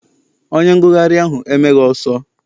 Onye ngụgharị ahụ emeghị ọsọ.